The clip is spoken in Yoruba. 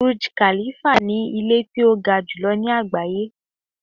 Burj Khalifa ni ilé tí ó ga jùlọ ní àgbáyé.